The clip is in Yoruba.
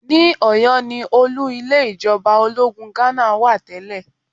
Ní Ọ̀yọ́ ni olú ilé ìjọba ológun Ghánà wà tẹ́lẹ̀